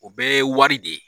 O bɛɛ ye wari de ye.